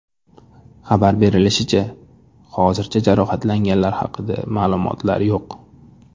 Xabar berilishicha, hozircha jarohatlanganlar haqida ma’lumotlar yo‘q.